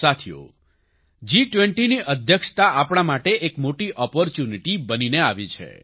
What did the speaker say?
સાથીઓ જી20ની અધ્યક્ષતા આપણા માટે એક મોટી ઓપોર્ચ્યુનિટી બની ને આવી છે